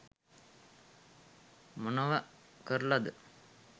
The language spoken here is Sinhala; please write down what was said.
මොනව කරලද